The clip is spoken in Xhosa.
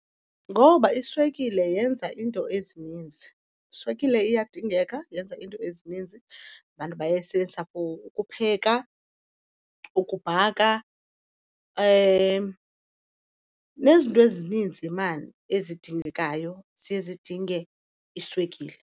Ngoba iswekile yenza iinto ezininzi. Iswekile iyadingeka, yenza iinto ezininzi. Abantu bayayisebenzisa ukupheka, ukubhaka, nezinto ezininzi maan ezidingekayo ziye zidinge iswekile.